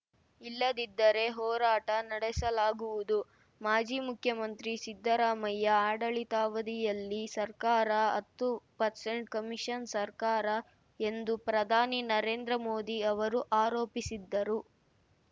ಇಲ್ಲದಿದ್ದರೆ ಹೋರಾಟ ನಡೆಸಲಾಗುವುದು ಮಾಜಿ ಮುಖ್ಯಮಂತ್ರಿ ಸಿದ್ದರಾಮಯ್ಯ ಆಡಳಿತವಧಿಯಲ್ಲಿ ಸರ್ಕಾರ ಹತ್ತು ಪರ್ಸೆಂಟ್‌ ಕಮಿಷನ್‌ ಸರ್ಕಾರ ಎಂದು ಪ್ರಧಾನಿ ನರೇಂದ್ರ ಮೋದಿ ಅವರು ಆರೋಪಿಸಿದ್ದರು